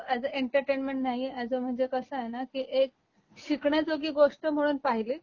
तो as a entertainment नाही as a म्हणजे कस आहे ना की एक शिकण्याजोगी गोष्ट म्हणून पाहिली